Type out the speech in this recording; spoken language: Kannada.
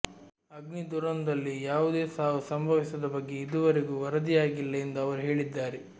ಅಗ್ನಿ ದುರಂದಲ್ಲಿ ಯಾವುದೇ ಸಾವು ಸಂಭವಿಸಿದ ಬಗ್ಗೆ ಇದುವರೆಗೂ ವರದಿಯಾಗಿಲ್ಲ ಎಂದು ಅವರು ಹೇಳಿದ್ದಾರೆ